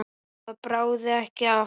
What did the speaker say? Það bráði ekki af Sveini.